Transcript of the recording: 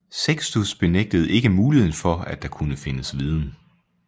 Sextus benægtede ikke muligheden for at der kunne findes viden